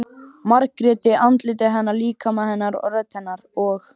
Margréti- andliti hennar, líkama hennar, rödd hennar- og